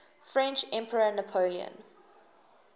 french emperor napoleon